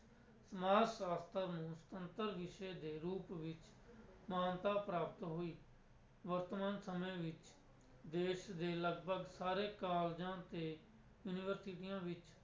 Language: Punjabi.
ਸਮਾਜ ਸ਼ਾਸਤਰ ਨੂੰ ਸੁਤੰਤਰ ਵਿਸ਼ੇ ਦੇ ਰੂਪ ਵਿੱਚ ਮਾਨਤਾ ਪ੍ਰਾਪਤ ਹੋਈ, ਵਰਤਮਾਨ ਸਮੇਂ ਵਿੱਚ ਦੇਸ ਦੇ ਲਗਪਗ ਸਾਰੇ ਕਾਲਜਾਂ ਤੇ ਯੂਨੀਵਰਸਟੀਆਂ ਵਿੱਚ